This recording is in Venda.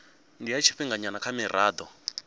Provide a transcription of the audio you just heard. ndi ya tshifhinganyana kha mirado